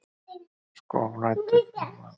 Sko. nú lætur hún vaða.